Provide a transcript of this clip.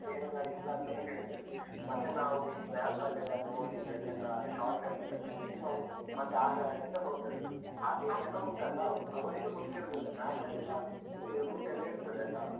ಬೇರೆ ದಾರಿಯಿಲ್ಲಾಂತನೇ ಹೇಳಿದ್ರು ಮತ್ತೇ ನಾವು ಈ map ಅಲ್ಲೆಲ್ಲ ನೋಡಿ, ಅದೆಲ್ಲ shortcut ಎಲ್ಲ ತೋರ್ಸಿ ನಾವು ಮತ್ತೆ ಆ ದಾರಿಯಿಂದ ಹೋದದ್ದು. ಕೆಲವುಂಟಲ್ಲ, ಅವ್ರಿಗೂ ಗೊತ್ತಿರುದಿಲ್ಲ, map ಅಲ್ಲೆಲ್ಲ route ಎಲ್ಲ ಇರ್ತದೆ ಅಲ್ಲ?